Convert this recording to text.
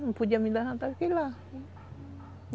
Não podia me levantar, fiquei lá.